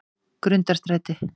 Grundarstræti